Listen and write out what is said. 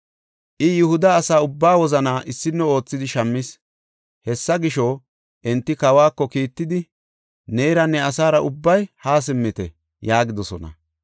I Yihuda asa ubbaa wozanaa issino oothidi shammis. Hessa gisho, enti kawako kiittidi, “Neera ne asaara ubbay haa simmite” yaagidosona.